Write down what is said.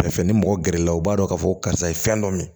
Fɛnfɛ ni mɔgɔ gɛrɛ la u b'a dɔn k'a fɔ karisa ye fɛn dɔ min